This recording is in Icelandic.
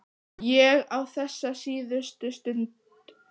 Ég á þessa síðustu stund.